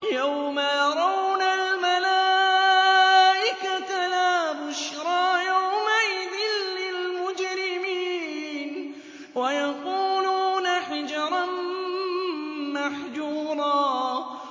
يَوْمَ يَرَوْنَ الْمَلَائِكَةَ لَا بُشْرَىٰ يَوْمَئِذٍ لِّلْمُجْرِمِينَ وَيَقُولُونَ حِجْرًا مَّحْجُورًا